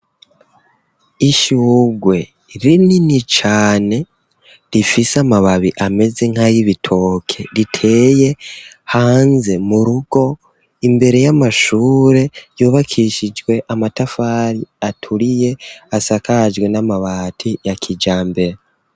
Ishurwe rinini cane, rifise amababi ameze nk'aybitoke riteye hanze mu rugo, imbere y'amashure yubakishijwe amatafari aturiye asakajwe n'amabati ya kijambere.